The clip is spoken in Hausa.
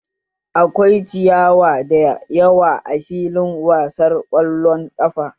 Akwai ciyawa da yawa a filin wasar ƙwallon ƙafa